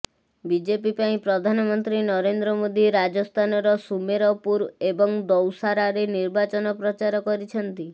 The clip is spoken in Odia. ବିଜପି ପାଇଁ ପ୍ରଧାନମନ୍ତ୍ରୀ ନରେନ୍ଦ୍ର ମୋଦି ରାଜସ୍ଥାନର ସୁମେରପୁର ଏବଂ ଦୌସାରେ ନିର୍ବାଚନ ପ୍ରଚାର କରିଛନ୍ତି